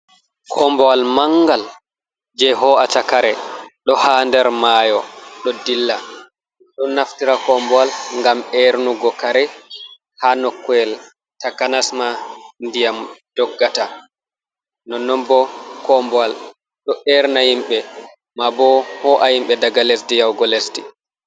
Kombowal mangal je ho'atakare do ha der mayo do dilla, ɗon naftira kombowal gam ernugo kare ha nokowel takanasma ndiyam doggata no non bo kombowal do erna himbe ma bo ho'a himbe daga lesdi yahugo lesdi.